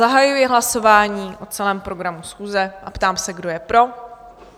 Zahajuji hlasování o celém programu schůze a ptám se, kdo je pro?